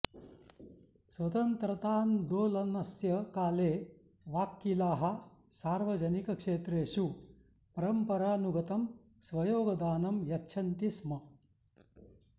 स्वतन्त्रान्दोलनस्य काले वाक्कीलाः सार्वजनिकक्षेत्रेषु परम्परानुगतं स्वयोगदानं यच्छन्ति स्म